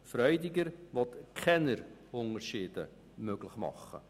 Die Planungserklärung Freudiger will keine Unterschiede möglich machen.